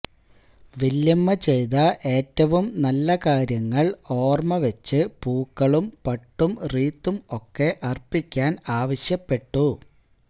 വല്യമ്മ ചെയ്ത ഏറ്റവും നല്ല കാര്യങ്ങൾ ഓർമ വെച്ചു പൂക്കളും പട്ടും റീത്തും ഒക്കെ അർപിക്കാൻ ആവശ്യപ്പെട്ടു